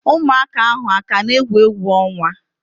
Ụmụaka ahu akana egwu egwu onwa?